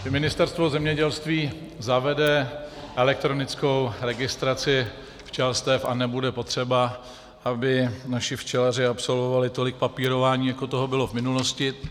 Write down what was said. Ministerstvo zemědělství zavede elektronickou registraci včelstev a nebude potřeba, aby naši včelaři absolvovali tolik papírování, jako toho bylo v minulosti.